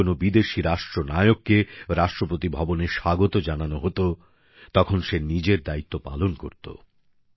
যখন কোন বিদেশী রাষ্ট্রনায়ককে রাষ্ট্রপতি ভবনে স্বাগত জানানো হতো তখনো সে নিজের দায়িত্ব পালন করত